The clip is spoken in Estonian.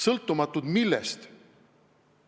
Sõltumatud millest?